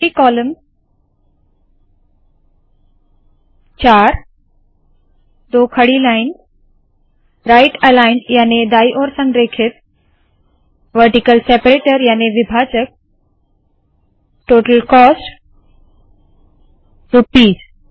multi column 4 दो खड़ी lines right aligned याने दाईं ओर संरेखित वरटीकल सेपरेटर याने विभाजक टोटल कोस्ट रुपीस